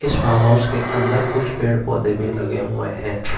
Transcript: Farm house के अंदर कुछ पेड़ पौधे भी लगे हुए हैं।